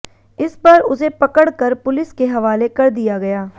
इस पर उसे पकड़ कर पुलिस के हवाले कर दिया गया